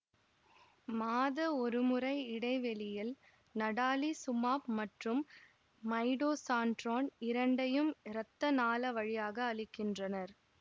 மாத ஒருமுறை இடைவெளியில் நடாலிசூமாப் மற்றும் மைடோசான்ட்ரோன் இரண்டையும் இரத்த நாள வழியாக அளிக்கின்றனர்